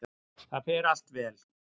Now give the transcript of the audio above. Það fer allt vel.